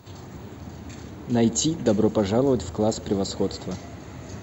найти добро пожаловать в класс превосходства